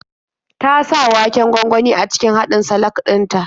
Ta sa waken gwangwani a cikin haɗin salak din ta.